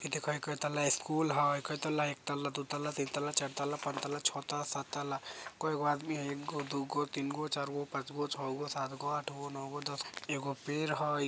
इ देखह कायिताला स्कूल हई कायिताला एकताला दुइतला तीनतला चारताला पाँचताला छोहतला साताला कईगो आदमी हई एगो दुगो तीनगो चारगो पांचगो छहगो सातगो आठगो नोगो दसगो एगो पेड़ हई।